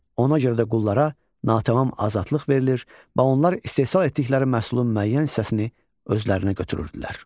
Ona görə də qullara natamam azadlıq verilir, və onlar istehsal etdikləri məhsulun müəyyən hissəsini özlərinə götürürdülər.